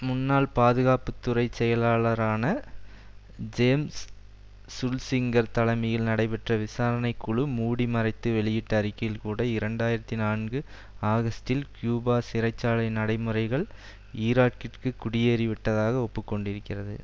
முன்னாள் பாதுகாப்பு துறை செயலாளரான ஜேம்ஸ் சுல்சிங்கர் தலைமையில் நடைபெற்ற விசாரணை குழு மூடி மறைத்து வெளியிட்ட அறிக்கையில் கூட இரண்டு ஆயிரத்தி நான்கு ஆகஸ்டில் கியூபா சிறை சாலை நடைமுறைகள் ஈராக்கிற்கு குடியேறி விட்டதாக ஒப்புக்கொண்டிருக்கிறது